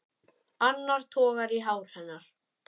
Annar togar í hár hennar.